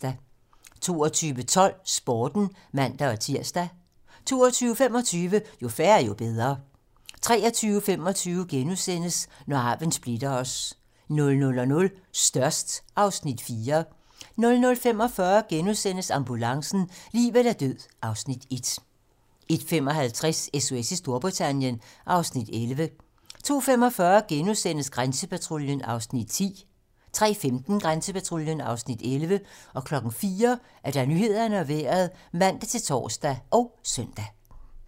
22:12: Sporten (man-tir) 22:25: Jo færre, jo bedre (man) 23:25: Når arven splitter os * 00:00: Størst (Afs. 4) 00:45: Ambulancen - liv eller død (Afs. 1)* 01:55: SOS i Storbritannien (Afs. 11) 02:45: Grænsepatruljen (Afs. 10)* 03:15: Grænsepatruljen (Afs. 11) 04:00: Nyhederne og Vejret (man-tor og søn)